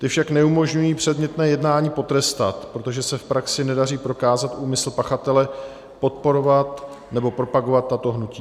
Ty však neumožňují předmětné jednání potrestat, protože se v praxi nedaří prokázat úmysl pachatele podporovat nebo propagovat tato hnutí.